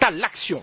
à l'action.